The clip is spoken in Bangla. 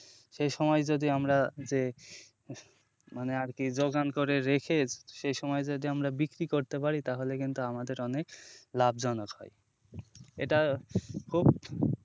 সেই সময় যদি আমরা যে মানে আরকি যোগান করে রেখে সেই সময় যদি আমরা বিক্রি করতে পারি তাহলে কিন্তু আমাদের অনেক লাভজনক হয় এটা খুব,